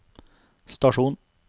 stasjon